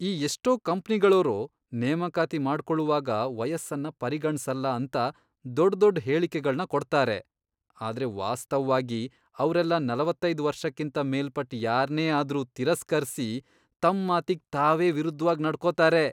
ಈ ಎಷ್ಟೋ ಕಂಪ್ನಿಗಳೋರು ನೇಮಕಾತಿ ಮಾಡ್ಕೊಳುವಾಗ ವಯಸ್ಸನ್ನ ಪರಿಗಣ್ಸಲ್ಲ ಅಂತ ದೊಡ್ದೊಡ್ ಹೇಳಿಕೆಗಳ್ನ ಕೊಡ್ತಾರೆ, ಆದ್ರೆ ವಾಸ್ತವ್ವಾಗಿ ಅವ್ರೆಲ್ಲ ನಲವತ್ತೈದ್ ವರ್ಷಕ್ಕಿಂತ ಮೇಲ್ಪಟ್ ಯಾರ್ನೇ ಆದ್ರೂ ತಿರಸ್ಕರ್ಸಿ ತಮ್ ಮಾತಿಗ್ ತಾವೇ ವಿರುದ್ಧ್ವಾಗ್ ನಡ್ಕೋತಾರೆ.